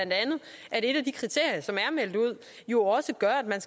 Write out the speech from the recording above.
at et af de kriterier som er meldt ud jo også gør at man